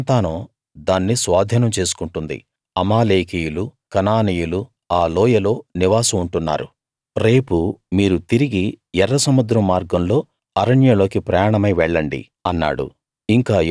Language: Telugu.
అతని సంతానం దాన్ని స్వాధీనం చేసుకుంటుంది అమాలేకీయులు కనానీయులు ఆ లోయలో నివాసం ఉంటున్నారు రేపు మీరు తిరిగి ఎర్రసముద్రం మార్గంలో అరణ్యంలోకి ప్రయాణమై వెళ్ళండి అన్నాడు